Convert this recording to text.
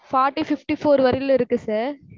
forty fifty four வரையிலும் இருக்கு sir